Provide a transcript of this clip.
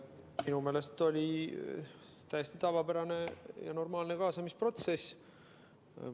Minu meelest oli täiesti tavapärane ja normaalne kaasamisprotsess.